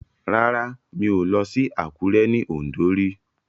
Rárá mi ò lọ sí Àkúré ní Ọ̀ǹdó rí